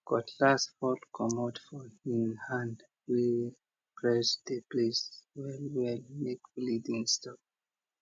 cutlass fall comot for hin hand we press the place well well make bleeding stop